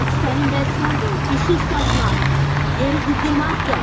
Axı sənin vəzifən işıq saçmaq, yeri qızdırmaqdır!